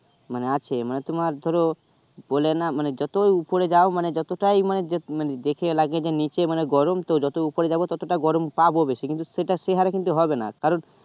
মানে আছে মানে তোমার ধরো বলে না যতো উপরে যাও মানে যতটা মানে দেখে লাগে যে নিচে মানে গরম তো যত উপরে যাবো তত টা গরম পাবো বেশি কিন্তু সে হারে হবে কারো